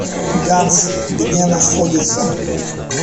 ганс где находится